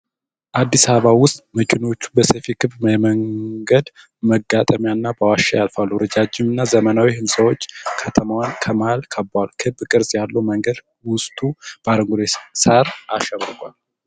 አዲስ አበባ ውስጥ መኪናዎች በሰፊ ክብ የመንገድ መጋጠሚያና በዋሻ ያልፋሉ። ረጃጅም እና ዘመናዊ ሕንፃዎች ከተማዋን ከመሃል ከበዋል። ክብ ቅርጽ ያለው መንገድ ውስጡ በአረንጓዴ ሳር አሸብርቋል።